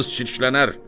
kağız çirklənər!